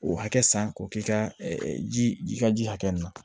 O hakɛ san k'o k'i ka ji ka ji hakɛ min